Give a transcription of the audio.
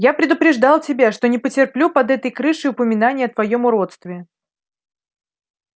я предупреждал тебя что не потерплю под этой крышей упоминания о твоём уродстве